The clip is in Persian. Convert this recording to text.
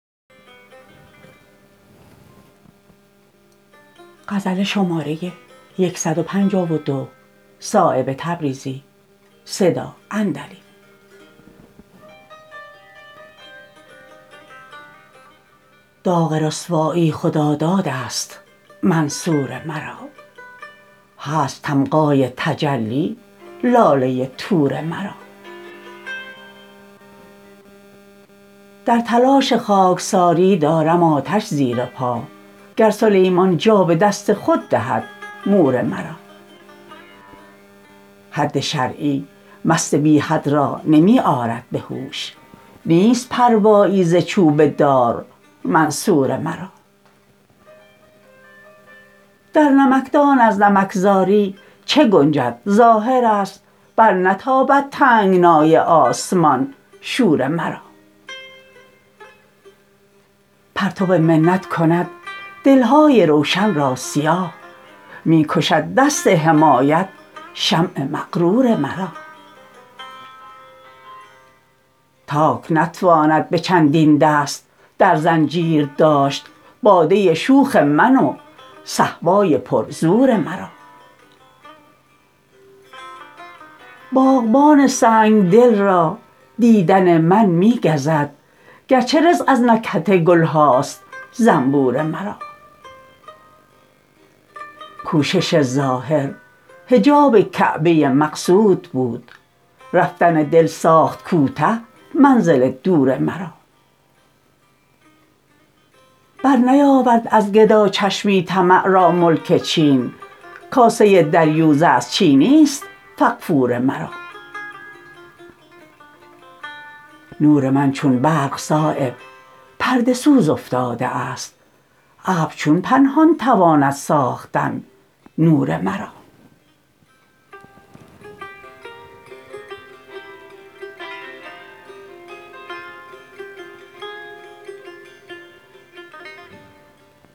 داغ رسوایی خدادادست منصور مرا هست تمغای تجلی لاله طور مرا در تلاش خاکساری دارم آتش زیر پا گر سلیمان جا به دست خود دهد مور مرا حد شرعی مست بی حد را نمی آرد به هوش نیست پروایی ز چوب دار منصور مرا در نمکدان از نمکزاری چه گنجد ظاهرست برنتابد تنگنای آسمان شور مرا پرتو منت کند دلهای روشن را سیاه می کشد دست حمایت شمع مغرور مرا تاک نتواند به چندین دست در زنجیر داشت باده شوخ من و صهبای پر زور مرا باغبان سنگدل را دیدن من می گزد گرچه رزق از نکهت گلهاست زنبور مرا کوشش ظاهر حجاب کعبه مقصود بود رفتن دل ساخت کوته منزل دور مرا برنیاورد از گداچشمی طمع را ملک چین کاسه دریوزه از چینی است فغفور مرا نور من چون برق صایب پرده سوز افتاده است ابر چون پنهان تواند ساختن نور مرا